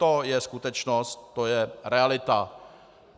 To je skutečnost, to je realita.